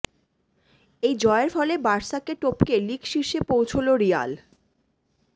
এই জয়ের ফলে বার্সাকে টপকে লীগ শীর্ষে পৌছল রিয়াল